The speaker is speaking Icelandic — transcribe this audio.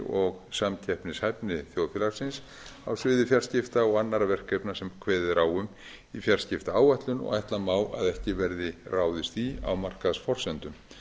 og samkeppnishæfni þjóðfélagsins á sviði fjarskipta og annarra verkefna sem kveðið er á um í fjarskiptaáætlun og ætla má að ekki verði ráðist í á markaðsforsendum